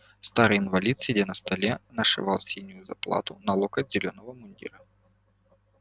старый инвалид сидя на столе нашивал синюю заплату на локоть зелёного мундира